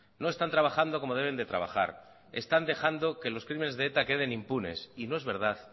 no están trabajando como deben de trabajar están dejando que los crímenes de eta queden impunes y no es verdad